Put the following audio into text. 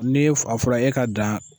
N'e a fɔra e ka dan.